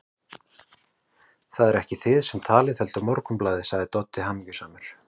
Það eruð ekki þið sem talið, heldur Morgunblaðið, sagði Doddi hamingjusamur.